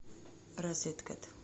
розеткед